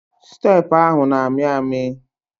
Steepụ ahụ na-amị amị.